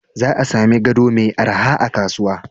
Za a sami gado mai araha a kasuwa.